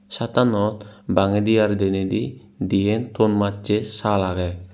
shat tanot bangedi ar dinedi diyen thon macche saal ageh.